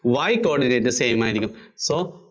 Y coordinate same ആയിരിയ്ക്കും so